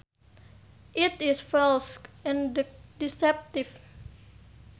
It is false and deceptive